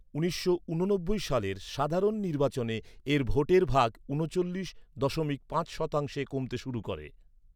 উনিশশো ঊননব্বিই সালের সাধারণ নির্বাচনে এর ভোটের ভাগ ঊনচল্লিশ দশমিক পাঁচ শতাংশে কমতে শুরু করে।